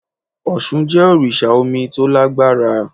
Òsun jẹ́ òrìsà omi to lágbára